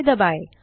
य दबाएँ